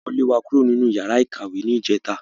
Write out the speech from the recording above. Wọ́n lé wa kúrò nínú yàrá ìkàwé ní ìjẹta